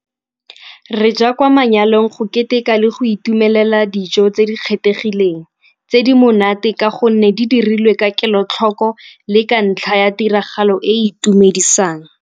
Re ja kwa manyalong go keteka le go itumelela dijo tse di kgethegileng, tse di monate ka gonne di dirilwe ka kelotlhoko le ka ntlha ya tiragalo e e itumedisang.